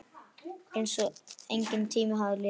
Einsog enginn tími hafi liðið.